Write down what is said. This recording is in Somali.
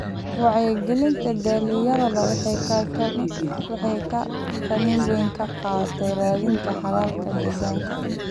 Wacyigelinta dhalinyarada waxay kaalin weyn ka qaadataa raadinta xalalka deegaanka.